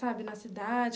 Sabe, na cidade?